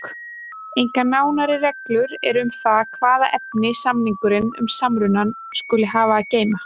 Engar nánari reglur eru um það hvaða efni samningurinn um samrunann skuli hafa að geyma.